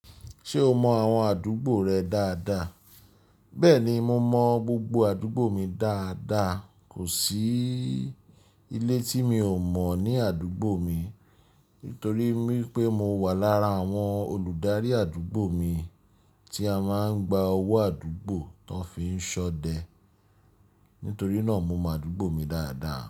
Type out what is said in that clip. Ṣé o mọ àwọn àdúgbò rẹ dáadáa? Bẹ́ẹ̀ni, mo mọ gbogbo àdúgbò mi dáadáa. Kò sí ilé tí mi ò mọ̀ ní àdúgbò mi, nítorí pé mo wà lára àwọn olùdarí àdúgbò mi tí a máa ń gba owó àdúgbò tó fi ń ṣọdẹ. Nítorí náà mo mọ àdúgbò mi dáadáa.